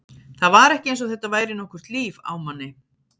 Það var ekki eins og þetta væri nokkurt líf á manni.